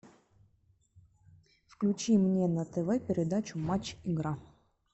включи мне на тв передачу матч игра